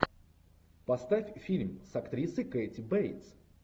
поставь фильм с актрисой кэти бейтс